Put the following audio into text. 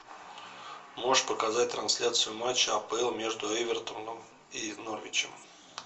можешь показать трансляцию матча апл между эвертоном и норвичем